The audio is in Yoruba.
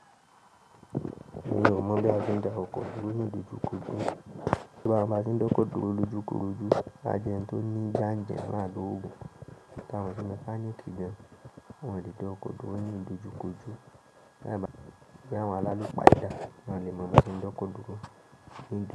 Èmí o mọ̀ bí a ti ń da oko dúró ní ìdojúkójú. Kí bá n ba ti ń dókòdó lójúkójú, a jẹ́ ń tún ní jánjà máa dúró. Ìtàn tí mo fánní kí jẹ́, wọ́n ti ń dókòdó ní ìdojúkójú, báyìí bá yàn lára ló pa idà, wọ́n lè mú ẹṣin dókòdó níjọ.